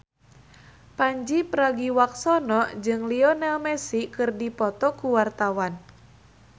Pandji Pragiwaksono jeung Lionel Messi keur dipoto ku wartawan